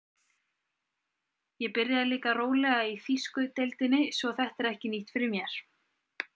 Ég byrjaði líka rólega í þýsku deildinni svo þetta er ekki nýtt fyrir mér.